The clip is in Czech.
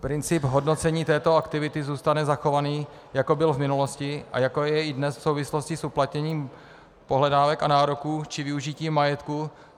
Princip hodnocení této aktivity zůstane zachovaný, jako byl v minulosti a jako je i dnes v souvislosti s uplatněním pohledávek a nároků či využitím majetku.